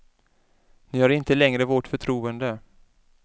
Ni har inte längre vårt förtroende.